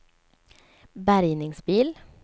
bärgningsbil